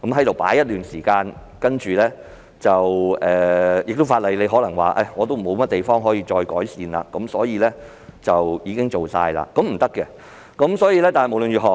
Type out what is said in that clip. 過了一段時間，政府可能會說法例已無可以再改善之處，可做的都已經做了——這是不行的。